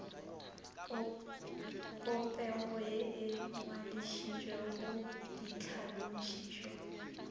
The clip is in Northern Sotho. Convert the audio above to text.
popego ye e ngwadišitšwego ditlhalošišo